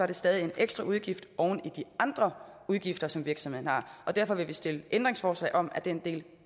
det stadig en ekstraudgift oven i de andre udgifter som virksomhederne har derfor vil vi stille ændringsforslag om at den del